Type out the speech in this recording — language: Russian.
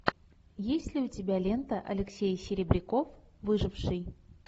есть ли у тебя лента алексей серебряков выживший